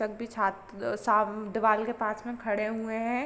सभी छात्र सब दीवाल के पास में खड़े हुए हैं।